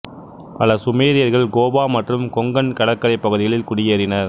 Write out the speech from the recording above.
பல சுமேரியர்கள் கோவா மற்றும் கொங்கன் கடற்கரைப் பகுதிகளில் குடியேறினர்